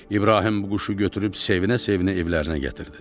İbrahim bu quşu götürüb sevinə-sevinə evlərinə gətirdi.